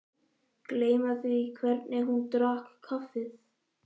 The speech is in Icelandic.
Gleyma því hvernig hún drakk kaffið.